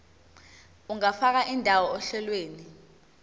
ungafaka indawo ohlelweni